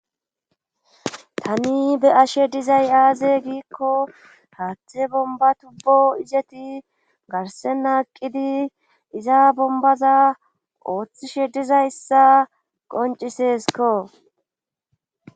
Tani be ashe dizay aaze giikko haathe bomba tubbo izeti garsenaaqqidi iza bombaza ooththishe dizayssa qonciseskko